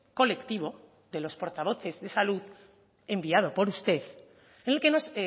colectivo de los portavoces de salud enviado por usted en el que nos